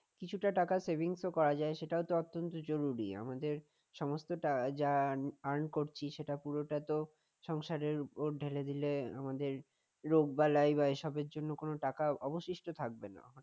কিছুটা টাকা saving স ও করা যায় সেটাও অত্যন্ত জরুরী আমাদের সমস্তটা যেটা আমি করছি সেটা পুরোটা তো সংসারের উপর ঢেলে আমাদের রোগ বালাই বা এসবের জন্য কোন টাকা অবশিষ্ট থাকবে না